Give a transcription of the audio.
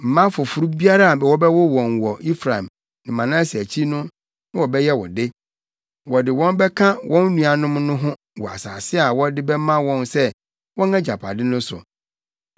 Mma foforo biara a wobɛwo wɔn wɔ Efraim ne Manase akyi no na wɔbɛyɛ wo de. Wɔde wɔn bɛka wɔn nuanom no ho wɔ asase a wɔde bɛma wɔn sɛ wɔn agyapade no so.